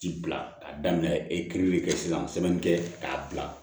Ci bila a daminɛ epiiri kɛ sisan sɛbɛn kɛ k'a bila